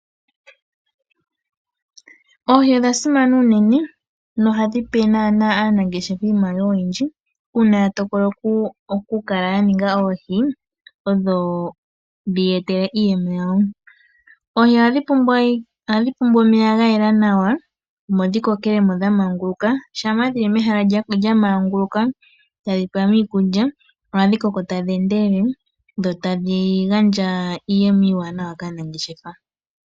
Oohi odha simana uunene nohadhi pe naana aanangeshefa iimaliwa oyindji. Una ya tokola oku kala ya ninga oohi odho dhiye etele iiyemo yawo. Oohi ohadhi pumbwa omeya gayela nawa omo dhi kokelemo nawa dha manguluka. Shampa dhili mehala lya manguluka tadhi pewa iikulya ohadhi koko tadhi endelele dho tadhi gandja iiyemo iiwanawa kaanangeshefa.